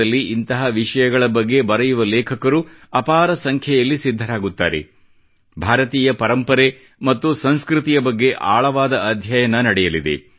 ದೇಶದಲ್ಲಿ ಇಂತಹ ವಿಷಯಗಳ ಬಗ್ಗೆ ಬರೆಯುವ ಲೇಖಕರು ಅಪಾರ ಸಂಖ್ಯೆಯಲ್ಲಿ ಸಿದ್ಧರಾಗುತ್ತಾರೆ ಭಾರತೀಯ ಪರಂಪರೆ ಮತ್ತು ಸಂಸ್ಕೃತಿಯ ಬಗ್ಗೆ ಆಳವಾದ ಅಧ್ಯಯನ ನಡೆಯಲಿದೆ